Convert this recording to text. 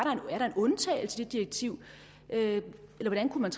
er en undtagelse i det direktiv eller hvordan kunne